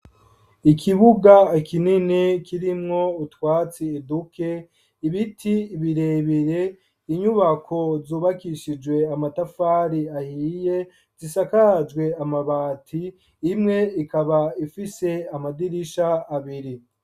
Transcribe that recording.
Ikibuga kinini kirimwo utwatsi duke, ibiti birebere, inyubako zubakishijwe amatafari ahiye, zisakajwe amabati, imwe ikaba ifise amadirisha abiri.